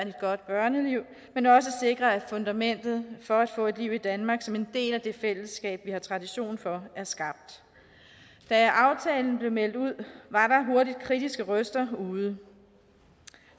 et godt børneliv men også sikre at fundamentet for at få et liv i danmark som en del af det fællesskab vi har tradition for er skabt da aftalen blev meldt ud var der hurtigt kritiske røster ude